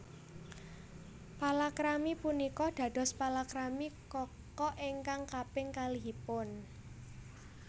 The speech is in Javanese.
Palakrami punika dados palakrami Kaka ingkang kaping kalihipun